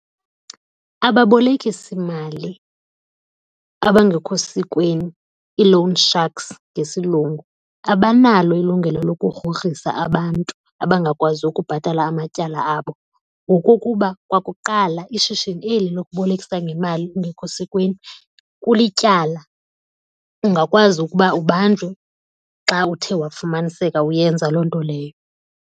Ababolekisimali abangekho sikweni i-loan sharks ngesiLungu abanalo ilungelo lokugrogrisa abantu abangakwazi ukubhatala amatyala abo ngokokuba kwakuqala ishishini eli lokubolekisa ngemali ungekho sikweni kulityala. Ungakwazi ukuba ubanjwe xa uthe wafumaniseka uyenza loo nto leyo.